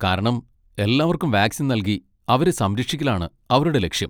കാരണം എല്ലാവർക്കും വാക്സിൻ നൽകി അവരെ സംരക്ഷിക്കലാണ് അവരുടെ ലക്ഷ്യം.